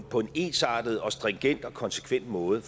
på en ensartet og stringent og konsekvent måde